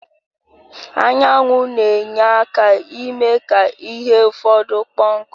Anyanwụ na-enye aka ime ka ihe ụfọdụ kpo nku